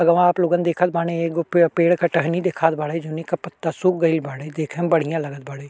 वहाँ आप लोगन देखत बानी एगो पे पेड़ के टहनी दिखात बाड़े जउने के पत्ता सुख गोइल बाड़े देखे में बढ़ियां लगत बाड़े।